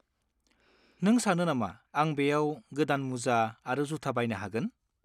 नों सानो नामा आं बेयाव गोदान मुजा आरो जुथा बायनो हागोन?